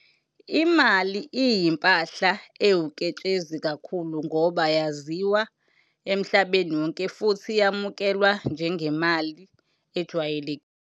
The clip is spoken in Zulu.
Imali iyimpahla ewuketshezi kakhulu ngoba yaziwa emhlabeni wonke futhi yamukelwa njengemali ejwayelekile.